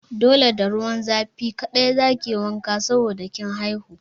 Dole da ruwan zafi kaɗai za ki yi wanka saboda kin haihu!